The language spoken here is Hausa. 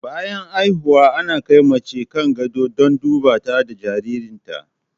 Bayan haihuwa ana kai mace kan gado don duba ta da jaririn ta